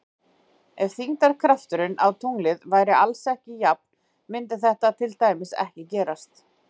Ef þyngdarkrafturinn á tunglið væri alls staðar jafn mundi þetta til dæmis ekki gerast.